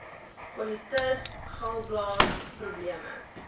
kolitis galblaas probleme